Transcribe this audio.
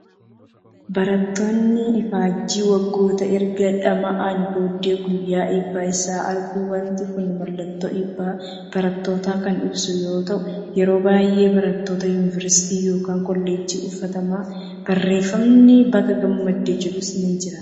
Barattoonni ifaajjii waggoota erga dhama'anii booddee guyyaa eebba isaanii argu. Waanti kun mallattoo eebba barattootaa kan ibsu yoo ta'u, yeroo baay'ee barattoota yuuniversiitiin yookiin koollejjiin uffatama. Barreeffamni baga gammadde jedhus ni jira.